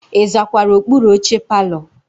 Ị zakwara okpuru oche palọ?